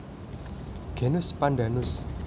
Genus Pandanus